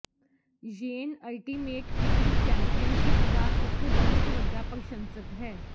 yen ultimate fighting championship ਦਾ ਇੱਕ ਬਹੁਤ ਵੱਡਾ ਪ੍ਰਸ਼ੰਸਕ ਹੈ